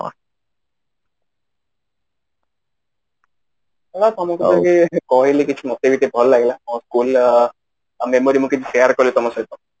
ତମକୁ ଟିକେ କହିଲି କିଛି ମତେ ବି ଟିକେ ଭଲ ଲାଗିଲା ମୋ school ର memory ମୁଁ କିଛି share କଲି ତମ ସହିତ